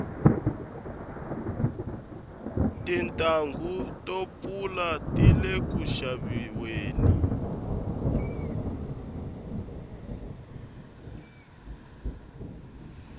tintanghu to pfula tile ku xaviweni